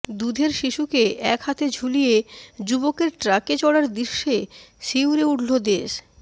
দুধের শিশুকে এক হাতে ঝুলিয়ে যুবকের ট্রাকে চড়ার দৃশ্যে শিউরে উঠল দেশ